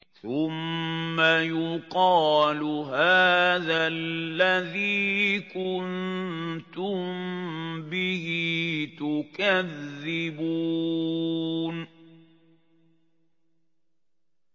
ثُمَّ يُقَالُ هَٰذَا الَّذِي كُنتُم بِهِ تُكَذِّبُونَ